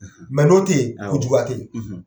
n'o tɛ yen, juguya tɛ yen.